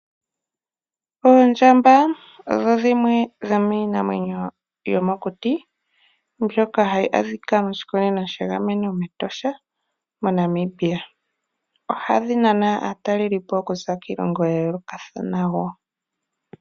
Oondjamba odho dhimwe dhomiinamwenyo yomokuti mbyoka hayi adhika moshikunino shiinamwenyo mEtosha moNamibia ohayi naana aatalelipo okuza kiilongo ya yoolokathana wo.